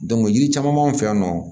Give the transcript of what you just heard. yiri caman b'an fɛ yan nɔ